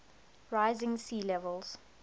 rising sea levels